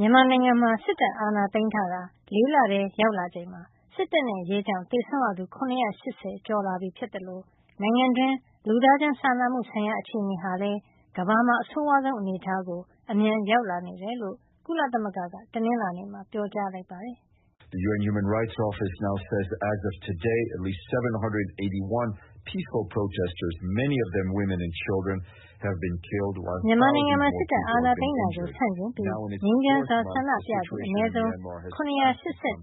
မြန်မာနိုင်ငံမှာ စစ်တပ်အာဏာသိမ်းထားတာ ၄ လ ထဲ ရောက်လာချိန်မှာ စစ်တပ်နဲ့ရဲကြောင့် သေဆုံးရသူ ၇၈၀ ကျော်လာပြီဖြစ်သလို နိုင်ငံတွင်း လူသားချင်းစာနာမှုဆိုင်ရာ အခြေနေဟာလည်း ကမ္ဘာမှာ အဆိုးဝါးဆုံးအနေထားကို အမြန်ရောက်လာနေ တယ်လို့ ကုလသမဂ္ဂက တနင်္လာနေ့မှာ ပြောကြားလိုက်ပါတယ်။ မြန်မာနိုင်ငံမှာ စစ်တပ်အာဏာသိမ်းတာကို ဆန့်ကျင်ပြီး ငြိမ်းချမ်းစွာဆန္ဒပြသူူ အနည်းဆုံး ၇၈၁ ယောက်ဟာ စစ်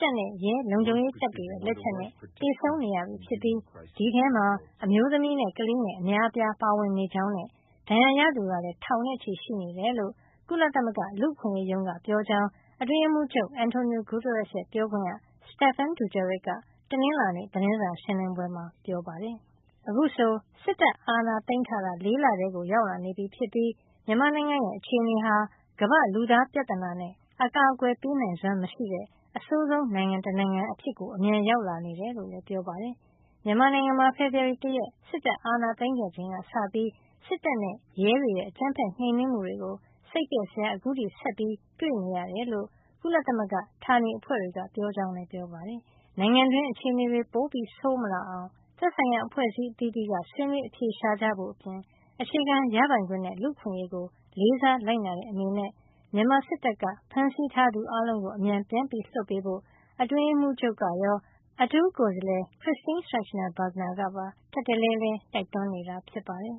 တပ်နဲ့ ရဲလုံခြုံရေးတပ်တွေရဲ့ လက်ချက်နဲ့ သေဆုံးနေရပြီဖြစ်ပြီး အဲဒီထဲမှာ အမျိုးသမီးနဲ့ ကလေးငယ် အများအပြားပါဝင်နေကြောင်းနဲ့ ဒဏ်ရာရသူကလည်း ထောင်နဲ့ချီရှိနေတယ်လို့ ကုလသမဂ္ဂ လူ့အခွင့်ရေးရုံးက ပြောကြားကြောင်း အတွင်းရေးမှုးချုပ် Antonio Guterres ရဲ့ ပြောခွင့်ရ Stephane Dujarric က တနင်္လာနေ့ သတင်းစာရှင်းလင်းပွဲမှာ ပြောပါတယ်။ အခုဆို စစ်တပ်အာဏာသိမ်းထားတာ ၄ လထဲကို ရောက်လာနေပြီဖြစ်ပြီး မြန်မာနိုင်ငံရဲ့အခြေနေဟာ ကမ္ဘာ့ လူသားပြဿနာနဲ့ အကာကွယ်ပေးနိုင်စွမ်းမရှိတဲ့ အဆိုးဆုံး နိုင်ငံတနိုင်ငံအဖြစ်ကို အမြန်ရောက်လာနေတယ်လို့လည်း ပြောပါတယ်။ မြန်မာနိုင်ငံမှာ ဖေဖေါ်ဝါရီလ ၁ ရက် စစ်တပ်အာဏာသိမ်းခဲ့ချိန်ကစပြီး စစ်တပ်နဲ့ရဲတွေရဲ့ အကြမ်းဖက်နှိမ်နင်းမှုတွေကို စိတ်ပျက်စရာ အခုထိ ဆက်ပြီးတွေ့နေရတယ်လို့ ကုလသမဂ္ဂဌာနေ အဖွဲ့တွေက ပြောကြောင်းလည်းပြောပါတယ်။ နိုင်ငံတွင်း အခြေနေတွေ ပိုဆိုးမလာအောင် သက်ဆိုင်ရာ အဖွဲ့အစည်းအသီးသီးက ဆွေးနွေးအဖြေရှာကြဖို့ အပြင် အခြေခံရပိုင်ခွင့်နဲ့ လူ့အခွင့်ရေးကို လေးစားလိုက်နာတဲ့ အနေနဲ့ မြန်မာစစ်တပ်က ဖမ်းဆီးထားသူအားလုံးကို အမြန်ပြန်လွှတ်ပေးဖို့ အတွင်းရေးမှူးချုပ် Antonio Guterres ကရော အထူးကိုယ်စားလှယ် Christine Schraner Burgener ကပါ ထပ်တလဲလဲ တိုက်တွန်းနေတာဖြစ်ပါတယ်